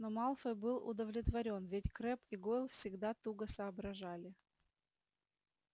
но малфой был удовлетворён ведь крэбб и гойл всегда туго соображали